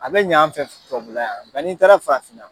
A be ɲɛ an fɛ tubabula yan , n'i taara farafinna